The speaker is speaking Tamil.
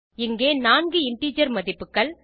இங்கே நான்கு இன்டிஜர் மதிப்புகள்